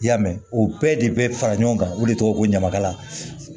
I y'a mɛn o bɛɛ de bɛ fara ɲɔgɔn kan o de tɔgɔ ye ko ɲamakala